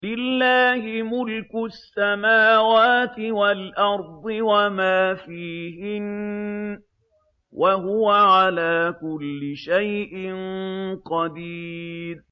لِلَّهِ مُلْكُ السَّمَاوَاتِ وَالْأَرْضِ وَمَا فِيهِنَّ ۚ وَهُوَ عَلَىٰ كُلِّ شَيْءٍ قَدِيرٌ